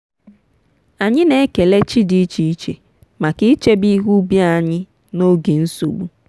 anyị na-ekele chi dị iche iche maka ichebe ihe ubi anyị n'oge nsogbu.